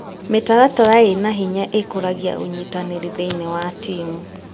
Mĩtaratara ĩna hinya ĩkũragia ũnyitanĩri thĩinie wa timu.